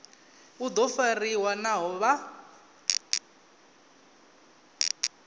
u do fariwa naho vha